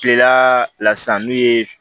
Kilela la sisan n'u ye